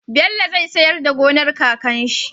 Bello zai siyar da gonar kakan shi